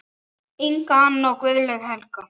Inga Anna og Guðlaug Helga.